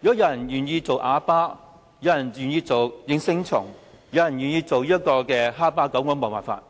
如果有人願意做啞巴、應聲蟲或哈巴狗，我也沒有辦法。